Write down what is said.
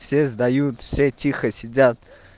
все сдают все тихо сидят